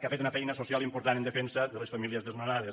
que ha fet una feina social important en defensa de les famílies desnonades